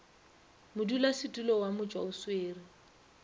modulasetulo wa motšwa o swere